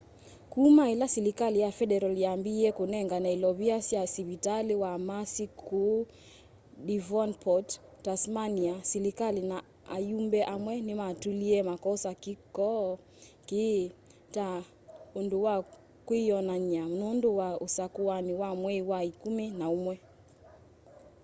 kuma ila silikali ya federal yambiie kunengane ilovia sya sivitali wa mersey kuu devonport tasmania silikali na ayumbe amwe nimatulie makosa kiko kii ta undu wa kwiyonany'a nundu wa usakuani wa mwei wa ikumi na umwe